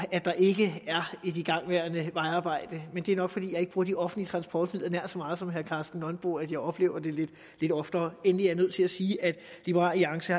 der ikke er et igangværende vejarbejde men det er nok fordi jeg ikke bruger de offentlige transportmidler nær så meget som herre karsten nonbo at jeg oplever det lidt oftere endelig er jeg nødt til at sige at liberal alliance